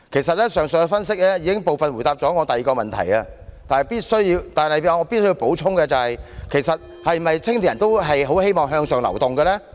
上述的分析已部分回答了我的第二個問題，但我必須補充，青年人是否都希望能向上流動？